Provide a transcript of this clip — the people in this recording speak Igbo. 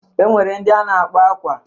E nwere ndị a na-akpọ akwa.